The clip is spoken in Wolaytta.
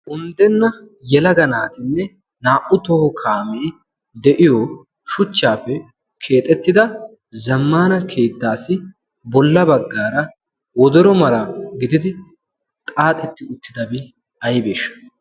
unddenna yelaga naatinne naa'u toho kaamee de'iyoo shuchchaappe keexettida zammaana keettassi bolla bagaara wodoro mala gididi xaaxetti uttidabi aybeeshsha?